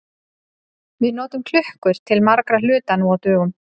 Við notum klukkur til margra hluta nú á dögum.